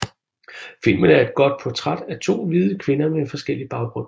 Filmen er et portræt af to hvide kvinder med forskellig baggrund